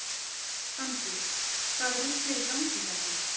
Fanndís: Hvaða rugl er í gangi hérna?